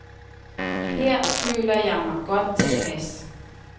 Her føler jeg mig godt tilpas.